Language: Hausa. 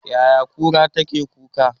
Yaya kura take kuka?